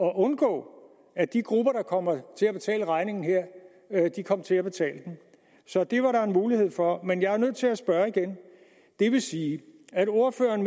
at undgå at de grupper der kommer til at betale regningen her kom til at betale den så det var der en mulighed for men jeg er nødt til at spørge igen vil det sige at ordføreren